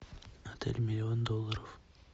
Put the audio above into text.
отель миллион долларов